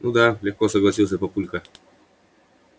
ну да легко согласился папулька